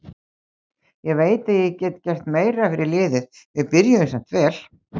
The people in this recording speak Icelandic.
Ég veit að ég get gert meira fyrir liðið, við byrjuðum samt vel.